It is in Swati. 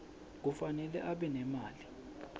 kufanele abe nemali